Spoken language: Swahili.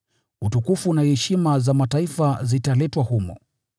Utukufu na heshima za mataifa zitaletwa humo.